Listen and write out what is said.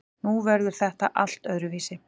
Nú verður þetta allt öðruvísi.